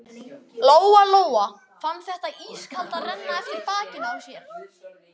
Lóa-Lóa fann þetta ískalda renna eftir bakinu á sér.